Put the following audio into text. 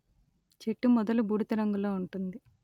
చెట్టు మొదలు బూడిద రంగులో ఉంటుంది